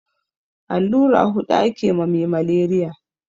Allura hudu ake ma me maleriya